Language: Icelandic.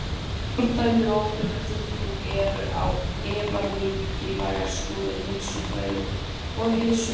Fordæmi og ábyrgðartilfinning eru á efa mikilvægar stoðir heilsufræði og heilsuverndar.